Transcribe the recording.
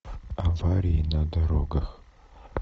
аварии на дорогах